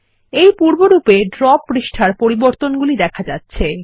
এই পূর্বরূপ এ ড্র পাতার পরিবর্তনগুলি দেখা যাচ্ছে